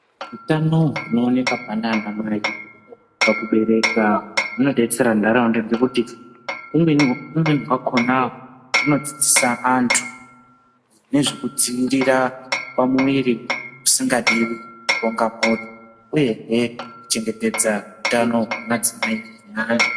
Utano hunooneka panaanamai pakubereka hunodetsera ntaraunda ngekuti humweni hwakona hunodzidzisa antu nezvekudziirira pamuviri pasingadiwi, kuronga mhuri, uyehe kuchengetedza hutano hwemadzimai neana.